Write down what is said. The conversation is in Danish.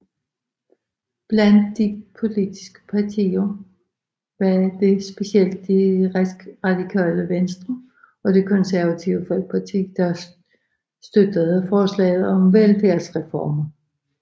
Blandt de politiske partier var det specielt Det Radikale Venstre og Det Konservative Folkeparti der støttede forslaget om velfærdsreformer